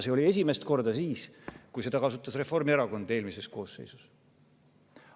See oli esimest korda siis, kui seda kasutas Reformierakond eelmises koosseisus.